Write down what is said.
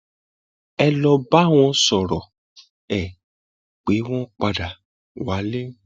ẹ lọọ bá wọn sọrọ ẹ pé wọn padà wálé